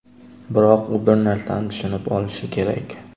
Biroq u bir narsani tushunib olishi kerak.